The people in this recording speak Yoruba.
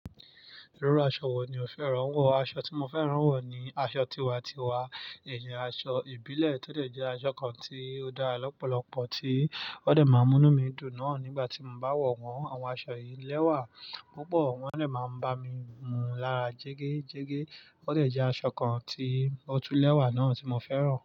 Irú aṣọ wo ni o fẹ́ rán wọ̀? Aṣọ tí mo fẹ́ rán wọ̀ ni aṣọ tiwa-tiwa, ìyẹn aṣọ ìbílẹ̀ tó dé jẹ́ aṣọ kan tí ó dá lọ́pọ̀lọpọ̀ tí ó dé máa mú mí dùn náà nígbàtí mo bá wọ̀ wọ́n. Àwọn aṣọ yìí lẹ́wà púpọ̀, wọ́n dé máa ń bá mi mù l'ára jégéjégé. Ó dẹ̀ jẹ́ aṣọ kan tí ó tú lẹ́wà náà tí mo fẹ́ rán.